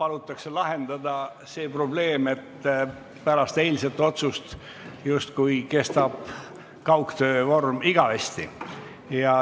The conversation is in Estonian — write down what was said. palutakse lahendada see probleem, et pärast eilset otsust justkui kestab töö kaugtöö korras igavesti.